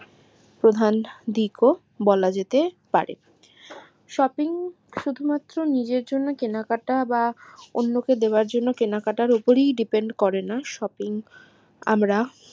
প্রধান দিকও বলা যেতে পারে shopping শুধু মাত্র কেনাকাটা বা অন্য কে দেয়ার জন্য কেনাকাটার উপরই depend করেনা shopping